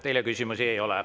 Teile küsimusi ei ole.